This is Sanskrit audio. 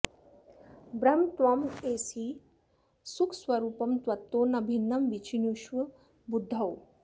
ब्रह्म त्वमेवासि सुखस्वरूपं त्वत्तो न भिन्नं विचिनुष्व बुद्धौ